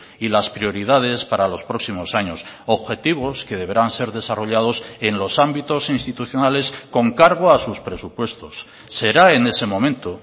y las prioridades para los próximos años objetivos que deberán ser desarrollados en los ámbitos institucionales con cargo a sus presupuestos será en ese momento